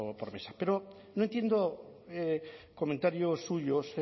por mesa pero no entiendo comentarios suyos